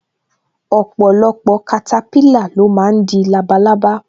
Ọpọlọpọ katapila lo máa ń di labalábá